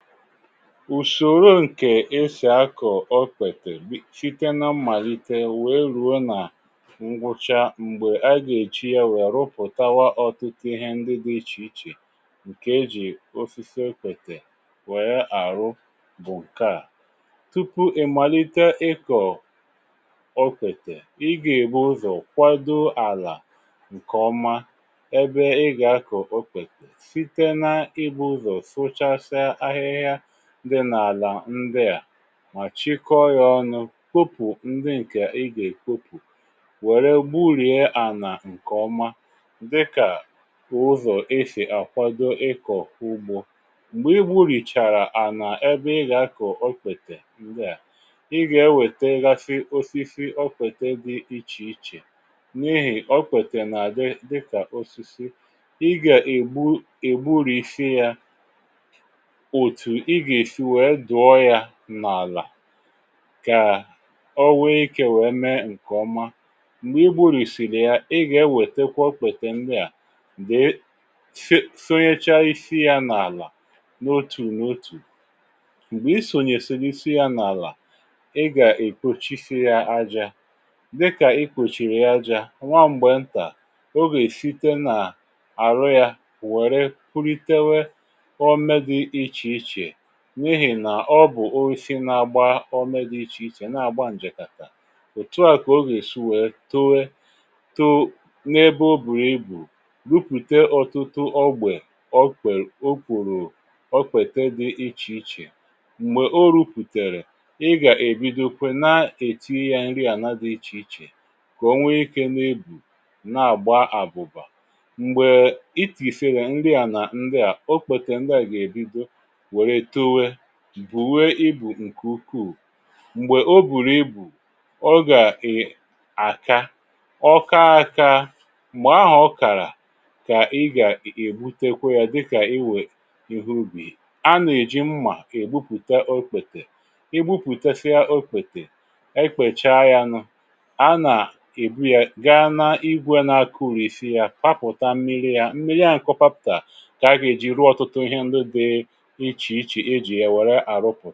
Ùsòrò ǹkè ésì akọ̀ okpètè site nà mmàlite wèe rùo nà ngwụcha m̀gbè a gà-èchi yá wè rụpụtawa ọ̀tutu ihé ndi dị ichè ichè ǹkè ejì osisi okpètè wèe àrụ bụ̀ ǹke a. Tupu ị̀ màlite ịkọ̀ okpètè, ị gà-ebu ụzọ̀ kwado àlà ǹkè ọma ebe ị gà-akọ̀ okpètè site nà ibu ụzọ sụchasịa ahịhịa dị nà-àlà ndị à mà chịkọọ yá ọnụ̇ kopù ndị ǹkè i gà-èkopù wère gburìe ànà ǹkè ọma dị kà ụzọ̀ esi àkwado ịkọ̀ ugbȯ. Mgbè i gburu̇chàrà ànà ebe ị gà-akọ̀ ọkpètè ndịà, i gà-ewète gasị osisi okpète dị ichè ichè n’ihì okpètè nà-àdị dị kà osisi. Ị̀ gà-ègbu egburisi ya otu ịga esi wéé dụọ yá n'ala kà ọ wéé ikė wèe mee ǹkè ọma. Mgbè i gburìsiri ya, ị gà ewètekwa ò kpètè ndị à sonyecha isi ya n’àlà n’otù n’otù. Mgbè, i sònyèsìrì isi ya n’àlà ị gà-èkpochisi yá ajȧ dị kà i kpochìrì ya ajȧ, nwa m̀gbè ntà ọ gà-èsite n’àrụ yá wère punitewe ome dị ichè ichè n'ihi nà ọ bụ̀ oisi nà-agba ọmė dị ichè ichè nà-àgba ǹjèkàtà, òtu à kà o gà esi wèe towe too n’ebe o bùu ibù rupùte ọtụtụ ọgbè okwè o kwùrù okpete dị ichè ichè. Mgbè o rupùtèrè, ị gà-èbido kwẹ na-èti yȧ nri àna dị ichè ichè kà onwe ike nà ebu na-àgba àbụ̀bà m̀gbè um itìsere ndị á nà ndi a, o kpètè ndị à gà-èbido wèrè towe, bùwe ibù ǹkè ukuù. Mgbè o bùrù ibù ọ gà um àka, ọ kaa akȧ m̀gbè áhụ ọ kàrà kà ị gà ègbutekwe yá dị kà iwè ihé ubi. A nà-èji mmà ègbupùta okpètè, i gbupụtasia okpètè, ekpècha ya nụ a nà, ebu ya gaa n’igwė na-akụ̇risi yá gbapụ̀ta mmiri ya, mmiri áhụ kọ ọgbapụtà kà àga èji rụọ ọ̀tụtụ ihé ndị dị ichè ichè ejì yá wèrè arụpụ.